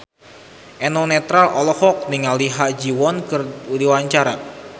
Eno Netral olohok ningali Ha Ji Won keur diwawancara